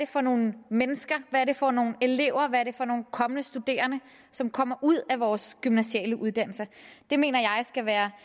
for nogle mennesker hvad er det for nogle elever hvad det er for nogle kommende studerende som kommer ud af vores gymnasiale uddannelser det mener jeg skal være